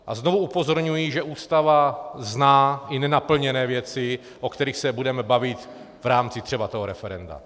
A znovu upozorňuji, že Ústava zná i nenaplněné věci, o kterých se budeme bavit v rámci třeba toho referenda.